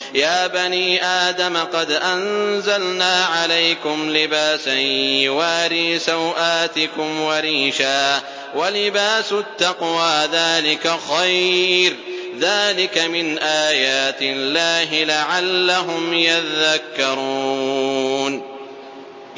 يَا بَنِي آدَمَ قَدْ أَنزَلْنَا عَلَيْكُمْ لِبَاسًا يُوَارِي سَوْآتِكُمْ وَرِيشًا ۖ وَلِبَاسُ التَّقْوَىٰ ذَٰلِكَ خَيْرٌ ۚ ذَٰلِكَ مِنْ آيَاتِ اللَّهِ لَعَلَّهُمْ يَذَّكَّرُونَ